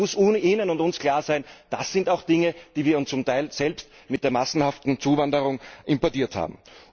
Da muss Ihnen und uns klar sein Das sind auch Dinge, die wir zum Teil selbst mit der massenhaften Zuwanderung importiert haben.